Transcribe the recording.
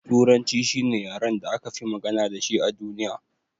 Turanci shine yaren da akafi magana dashi a duniya.